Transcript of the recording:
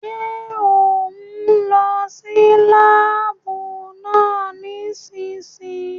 Ṣé òún lọ sí láàbù náà nísìsiyìí?